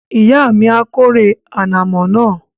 Ìyá mi a kórè ànàmọ́ náà